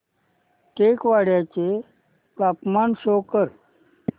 टेकवाडे चे तापमान शो कर